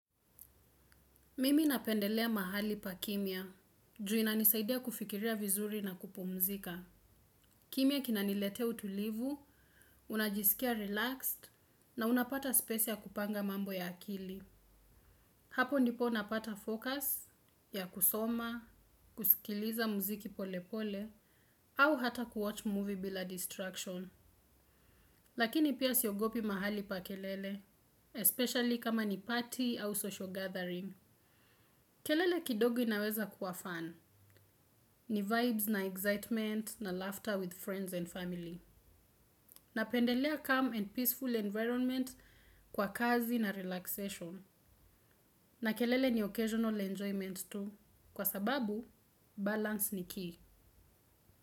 Mimi napendelea mahali pa kimya, ju inanisaidia kufikiria vizuri na kupumzika. Kimya kinanilete utulivu, unajisikia relaxed, na unapata spesi ya kupanga mambo ya akili. Hapo ndipo napata fokus, ya kusoma, kusikiliza mziki polepole, au hata kuwatch movie bila distraction. Lakini pia siogopi mahali pa kelele, especially kama ni party au social gathering. Kelele kidogo inaweza kuwa fun. Ni vibes na excitement na laughter with friends and family. Napendelea calm and peaceful environment kwa kazi na relaxation. Na kelele ni occasional enjoyment tu. Kwa sababu, balance ni key.